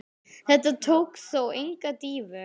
Þetta tók þó enga dýfu.